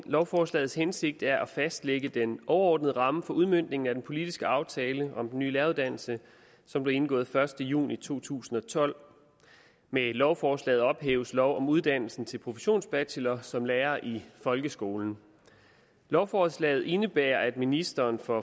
lovforslagets hensigt er at fastlægge den overordnede ramme for udmøntning af den politiske aftale om den nye læreruddannelse som blev indgået den første juni to tusind og tolv med lovforslaget ophæves lov om uddannelsen til professionsbachelor som lærer i folkeskolen lovforslaget indebærer at ministeren for